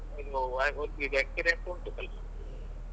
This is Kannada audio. ಹೌದ್ ಸ್ವಲ್ಪಾ ಸ್ವಲ್ಪ ಇದು ಅಹ್ ಇದು ಒಂದ್ ಇದು experience ಉಂಟು ಸ್ವಲ್ಪ.